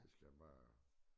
Det skal bare